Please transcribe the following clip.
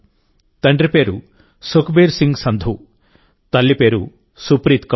తండ్రి పేరు సుఖ్బీర్ సింగ్ సంధు తల్లి పేరు సుప్రీత్ కౌర్